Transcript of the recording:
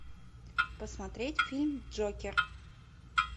посмотреть фильм джокер